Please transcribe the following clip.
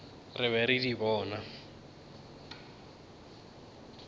re be re di bona